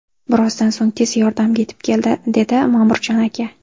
Birozdan so‘ng tez yordam yetib keldi”, dedi Ma’murjon aka.